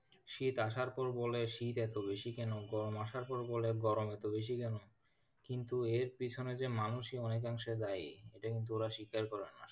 শীত আসার পর বলে শীত এতো বেশি কেন? গরম আসার পর বলে গরম এতো বেশি কেন? কিন্তু এর পিছনে যে মানুষই অনেক অংশে দায়ী এটা কিন্তু ওরা স্বীকার করে না,